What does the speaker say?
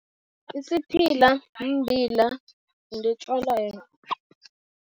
Isiphila mbila, yinto etjalwayo.